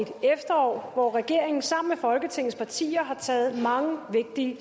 efterår hvor regeringen sammen med folketingets partier har taget mange vigtige